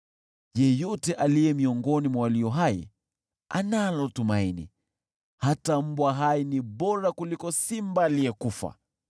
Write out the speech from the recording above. Yeyote aliye miongoni mwa walio hai analo tumaini, hata mbwa hai ni bora kuliko simba aliyekufa!